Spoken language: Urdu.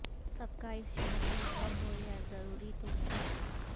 سب کا اس شہر میں گھر ہو یہ ضروری تو نہیں